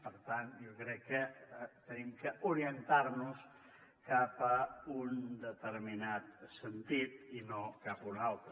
per tant jo crec que hem d’orientar nos cap a un determinat sentit i no cap a un altre